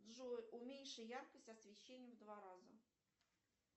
джой уменьши яркость освещения в два раза